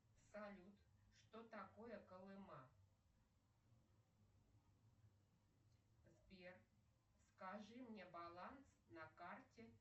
салют что такое колыма сбер скажи мне баланс на карте